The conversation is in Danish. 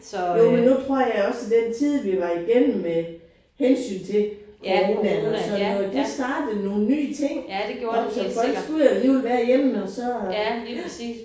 Jo men nu tror jeg også at den tid vi var igennem med hensyn til coronaen og sådan noget det startede nogle nye ting op så folk skulle alligevel være hjemme og så ja